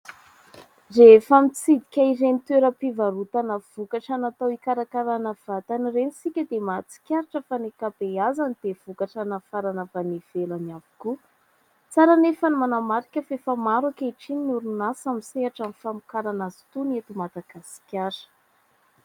Rehefa mitsidika ireny toeram-pivarotana vokatra natao hikarakarana vatana ireny isika dia mahatsikaritra fa ny ankabeazany dia vokatra nafarana avy any ivelany avokoa. Tsara nefa ny manamarika fa efa maro ankehitriny ny orinasa misehatra amin'ny famokarana azy itony eto Madagasikara.